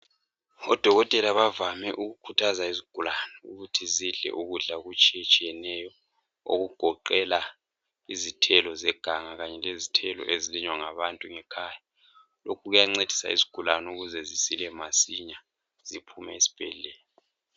odokotela bavame ukukhuthaza izigulane ukuthi badle ukudla okutshiyeneyo okugoqela izithelo zeganga kanye lezithelo ezilinywa ngabantu ngekhaya lokhu kuyancedisa izigulane ukuthi zisile masinya ziphume esibhedlela